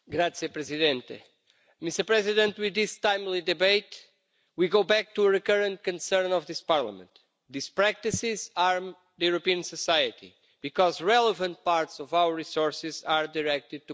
Mr President, with this timely debate we go back to a recurrent concern of this Parliament. These practices harm the European society because relevant parts of our resources are directed to criminal activities.